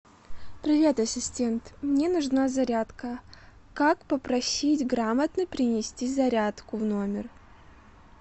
привет ассистент мне нужна зарядка как попросить грамотно принести зарядку в номер